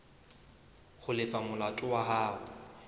ho lefa molato wa hao